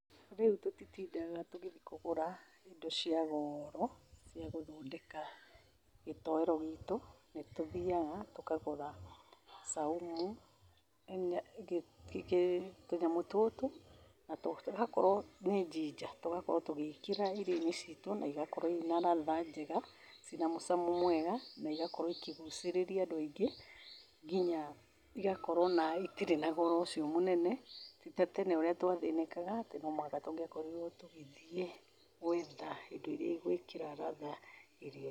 Rĩu tũtitinda tũgĩthi kũgũra indo cia goro cia gũthondeka gĩtoero gĩtũ. Nĩ tũthiaga tũkagũra saumu, tũnyamũ tũtũ na tũgakowro, nĩ ginger, tũgakorwo tũgĩĩkĩra irio-inĩ ciitũ na igakorwo inaratha njega, cina mũcamo mwega na igakorwo ikĩgucĩrĩĩria andũ aingĩ, nginya igakorwo itirĩ na goro ũcio mũnene. Ti ta tene ũrĩa twathĩnĩkaga atĩ no mwaka tũngĩakorirwo tũgĩthiĩ gwetha indo iria igũĩkĩra ratha irio-inĩ.